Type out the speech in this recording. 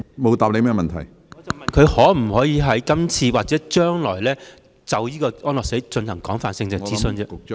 我問她會否在今次的諮詢中或將來，就安樂死進行廣泛的諮詢？